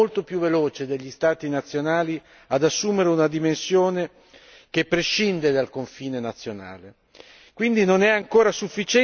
Si può dire che il crimine è stato molto più veloce degli Stati nazionali ad assumere una dimensione che prescinde dal confine nazionale.